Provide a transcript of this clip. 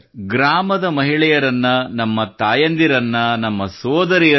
ಗ್ರಾಮದ ಮಹಿಳೆಯರಿಗೆ ನಮ್ಮ ತಾಯಂದಿರಿಗೆ ಸೋದರಿಯರಿಗೆ